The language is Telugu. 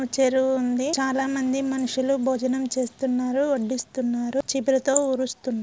చెరువుంది చాల మంది మనుషులు భోజనం చేస్తున్నారు వడ్డిస్తున్నారు చీపురుతో ఊడిస్తున్నారు.